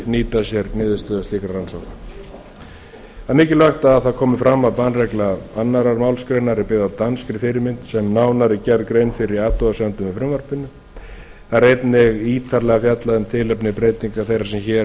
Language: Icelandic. nýta sér niðurstöður slíkra rannsókna það er mikilvægt að það komi fram að bannregla annarri málsgrein er byggð á danskri fyrirmynd sem nánar er gerð grein fyrir í athugasemdum með frumvarpinu það er einnig ítarlega fjallað um tilefni breytingar þeirrar sem hér